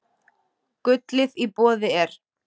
Gullið í boði er.